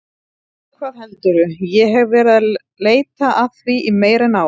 Já, hvað heldurðu, ég hef verið að leita að því í meira en ár.